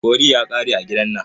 Curry ya ƙare a gidan nan.